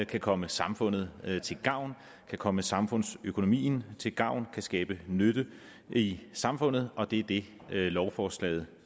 kan komme samfundet til gavn kan komme samfundsøkonomien til gavn kan skabe nytte i samfundet og det er det lovforslaget